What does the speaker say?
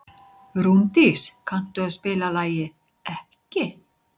Rúndís, kanntu að spila lagið „Ekki“?